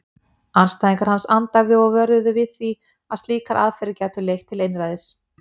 Andstæðingar hans andæfðu og vöruðu við því að slíkar aðferðir gætu leitt til einræðis.